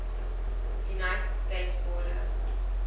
united states border